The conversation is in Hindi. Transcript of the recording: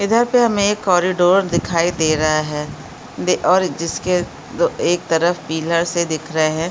इधर पे हमें एक कॉरिडोर दिखाई दे रहा है और जिसके एक तरफ पीलर से दिख रहे हैं।